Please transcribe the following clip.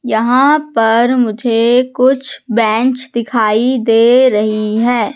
यहां पर मुझे कुछ बेंच दिखाई दे रही है।